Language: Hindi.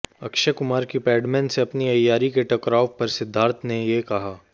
अक्षय कुमार की पैडमैन से अपनी अय्यारी के टकराव पर सिद्धार्थ ने ये कहा